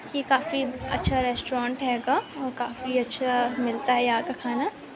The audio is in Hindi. ये काफी अच्छा रेस्टोरेंट हेंगा और काफी अच्छा मिलता है यहाँ का खाना।